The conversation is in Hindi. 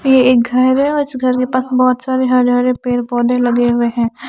ये एक घर है और इस घर के पास बोहोत सारे हरे हरे पेड़ पोधे लगे हुए है ।